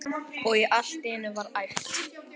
Og allt í einu var æpt